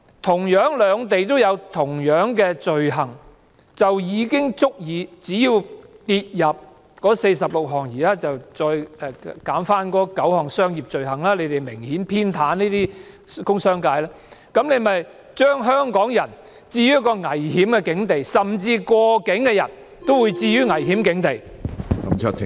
同樣兩地有該等罪行，政府卻從這46項罪類中刪去了9項商業罪類，這是明顯偏袒工商界，是置香港人於一個危險的境地，甚至過境的人也會被置於危險的境地。